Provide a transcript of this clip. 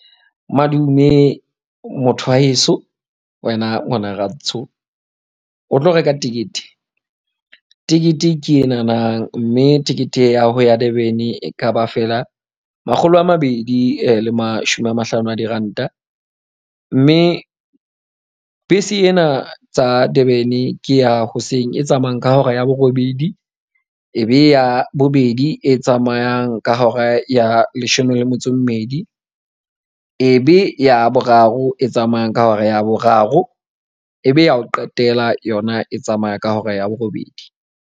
Madume motho wa heso, wena ngwana rantsho o tlo reka tekete? Tekete ke e nahanang mme tekete ya ho ya Durban-e e ka ba feela makgolo a mabedi le mashome a mahlano a diranta. Mme bese ena tsa Durban-e ke ya hoseng, e tsamayang ka hora ya borobedi. E be ya bobedi e tsamayang ka hora ya leshome le metso e mmedi. Ebe ya boraro e tsamayang ka hora ya boraro, ebe ya ho qetela yona e tsamaya ka hora ya borobedi.